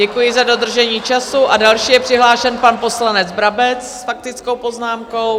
Děkuji za dodržení času a další je přihlášen pan poslanec Brabec s faktickou poznámkou.